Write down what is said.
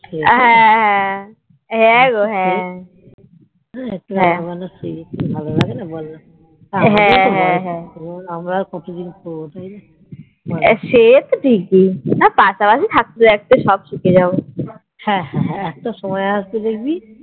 একটু রান্না বান্না শেখ ভালো লাগেনা বলনা আমরা আর কতদিন করবো যায়না হ্যান একটা সময় আসবে দেখবি